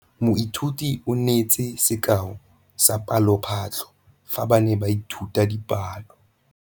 Moithuti o neetse sekaô sa palophatlo fa ba ne ba ithuta dipalo.